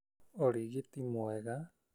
ũrigiti mwega,